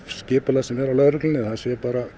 skipulag sem er á lögreglunni er